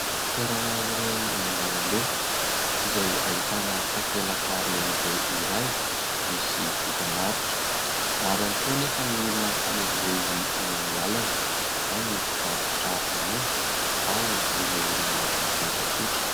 Toerana iray eny an-dalambe izay ahitana takelaka lehibe iray misy dokam-barotra, maro ihany koa anefa ny olona mifamezivezy eny amin'ny lalana, ao ny mpivarotra ronono, ao ireo olona mandeha tsotra.